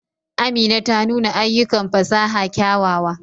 Amina ta nuna ayyukan fasaha kyawawa.